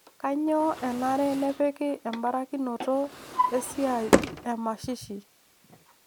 Kanyio enare nepiki embarakinoto esiai emashishi